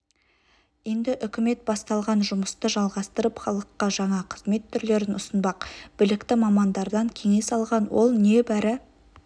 енді үкімет басталған жұмысты жалғастырып халыққа жаңа қызмет түрлерін ұсынбақ білікті мамандардан кеңес алған ол небәрі